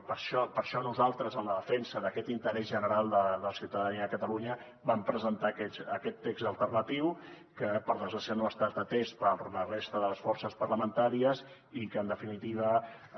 i per això nosaltres en la defensa d’aquest interès general de la ciutadania de catalunya vam presentar aquest text alternatiu que per desgràcia no ha estat atès per la resta de les forces parlamentàries i que en definitiva